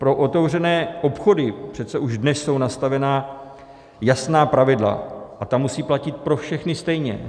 Pro otevřené obchody přece už dnes jsou nastavena jasná pravidla a ta musí platit pro všechny stejně.